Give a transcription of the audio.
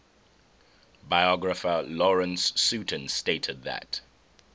biographer lawrence sutin stated that